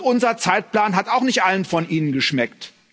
Unser Zeitplan hat auch nicht allen von Ihnen geschmeckt.